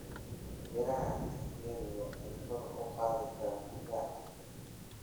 Miraha tangerine waxay kor u qaadi karaan difaaca jidhka.